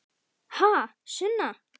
Ha, Sunna?